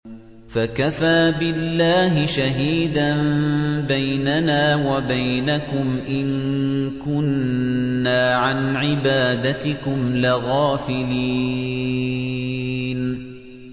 فَكَفَىٰ بِاللَّهِ شَهِيدًا بَيْنَنَا وَبَيْنَكُمْ إِن كُنَّا عَنْ عِبَادَتِكُمْ لَغَافِلِينَ